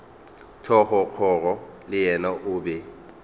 thogorogo le yena o be